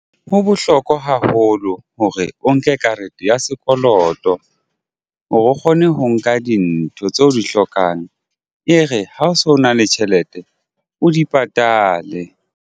Ho bohlokwa haholo hore o nke karete ya sekoloto hore o kgone ho nka dintho tseo o di hlokan e re ha o so na le tjhelete o di patale.